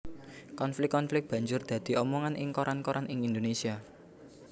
Konflik konflik banjur dadi omongan ing koran koran ing Indonésia